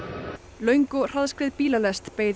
löng og hraðskreið bílalest beið